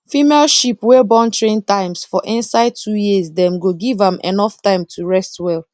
female sheep wey born three times for inside two years dem go give am enough time to rest well